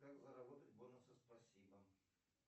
как заработать бонусы спасибо